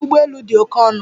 Njem ụgbọ elu dị oke ọnụ.